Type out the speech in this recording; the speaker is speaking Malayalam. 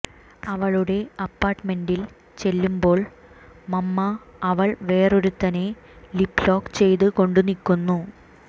അവളുടെ അപ്പാർട്ട്മെൻറ്റിൽ ചെല്ലുമ്പോൾ മമ്മാ അവൾ വേറൊരുത്തനെ ലിപ്പ് ലോക്ക് ചെയ്ത് കൊണ്ട് നിക്കുന്നു